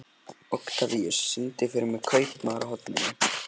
Oktavíus, syngdu fyrir mig „Kaupmaðurinn á horninu“.